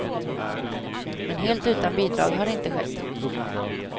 Men helt utan bidrag har det inte skett.